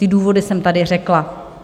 Ty důvody jsem tady řekla.